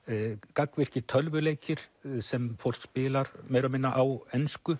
gagnvirkir tölvuleikir sem fólk spilar meira og minna á ensku